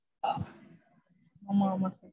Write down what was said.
ஆமா ஆமா